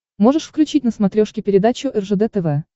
можешь включить на смотрешке передачу ржд тв